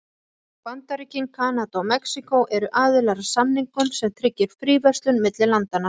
Bandaríkin, Kanada og Mexíkó eru aðilar að samningnum sem tryggir fríverslun milli landanna.